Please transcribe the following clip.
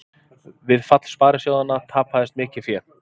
Við fall sparisjóðanna tapaðist mikið fé